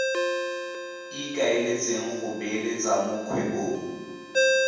ikaeletseng go beeletsa mo kgwebong